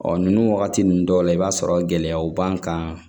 Ɔ ninnu wagati ninnu dɔw la i b'a sɔrɔ gɛlɛyaw b'an kan